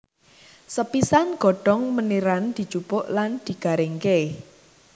Sepisan godhong meniran dijupuk lan digaringké